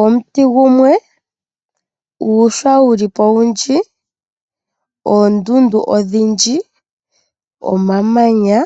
Omuti gumwe nuushwa wulipo owundji oondundu ondhindji oma manya,